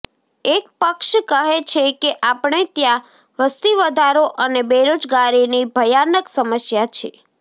એક પક્ષ કહે છે કે આપણે ત્યાં વસ્તીવધારો અને બેરોજગારીની ભયાનક સમસ્યા છે